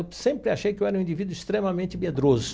Eu sempre achei que eu era um indivíduo extremamente medroso.